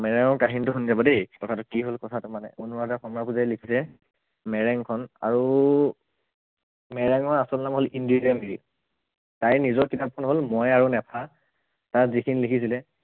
মেৰেং ৰ কাহিনীটো শুনি যাব দেই কথাটো কি হল কথাটো মানে অনুৰাধা শৰ্মা পূজাৰীয়ে লিখিলে মেৰেং খন আৰু, মেৰেং ৰ আচল নাম হল ইন্দিৰা মিৰি তাইৰ নিজৰ কিতাপখন হল মই আৰু নেফা তাত যিখিনি লিখিছিলে